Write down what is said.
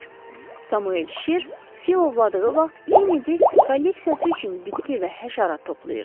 Samuel şir, fil ovladığı vaxt Kennedi kolleksiyası üçün bitki və həşərat toplayırdı.